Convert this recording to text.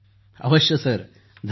अभिजीत जीः अवश्य सर